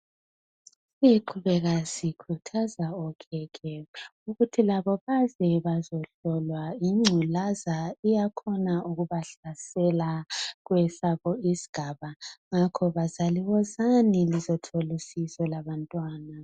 Siqhubeka sikhuthaza okhekhe ukuthi baze bazohlolwa ingculazi kuyenzeka ibahlasele kwesabo isigaba . Ngakho bazali wozani lizohlolwa labantwana.